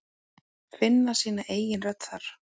Finna sína eigin rödd þar.